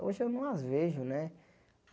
Hoje eu não as vejo, né?